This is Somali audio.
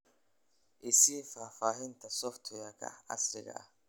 i sii faahfaahinta software-ka casriga ah